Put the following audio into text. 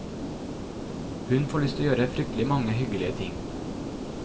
Hun får lyst til å gjøre fryktelig mange hyggelige ting.